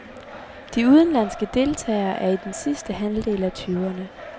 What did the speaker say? De udenlandske deltagere er i den sidste halvdel af tyverne.